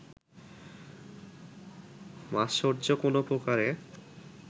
মাৎসর্য কোনো প্রকারে